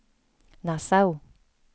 Nassau